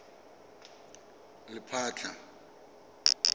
lephatla